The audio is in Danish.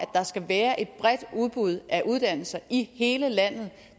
der skal være et bredt udbud af uddannelser i hele landet